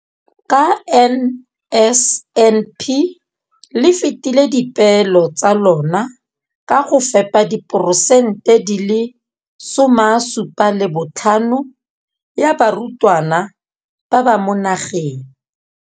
Ka NSNP le fetile dipeelo tsa lona tsa go fepa masome a supa le botlhano a diperesente ya barutwana ba mo nageng.